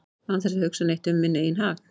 án þess að hugsa neitt um minn eigin hag